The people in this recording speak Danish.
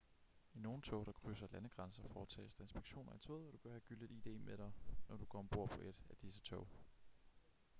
i nogle tog der krydser landegrænser foretages der inspektioner i toget og du bør have gyldigt id med dig når du går ombord på et af disse tog